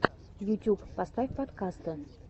ютюб поставь подкасты